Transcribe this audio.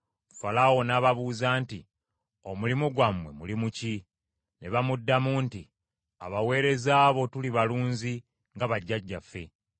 Falaawo n’ababuuza nti, “Omulimu gwammwe mulimu ki?” Ne bamuddamu nti, “Abaweereza bo tuli balunzi nga bajjajjaffe.